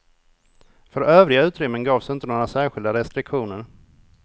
För övriga utrymmen gavs inte några särskilda restriktioner.